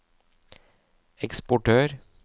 eksportør